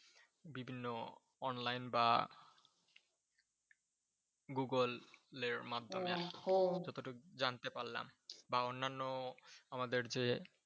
বিভিন্ন অনলাইন বা গুগলের মাধ্যমে যতটুকু জানতে পারলাম বা অন্যান্য আমাদের যে